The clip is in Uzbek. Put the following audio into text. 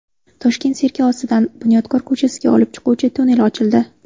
Toshkent sirki ostidan Bunyodkor ko‘chasiga olib chiquvchi tunnel ochildi.